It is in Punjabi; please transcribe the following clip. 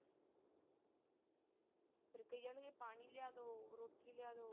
ਫਿਰ ਕਹੀ ਜਾਣਗੇ ਪਾਣੀ ਲਿਆਦੋ, ਰੋਟੀ ਲਿਆਦੋ।